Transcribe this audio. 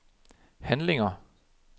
handlinger